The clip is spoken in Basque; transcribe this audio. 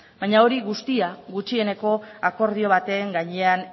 baina hori guztia gutxieneko akordio baten gainean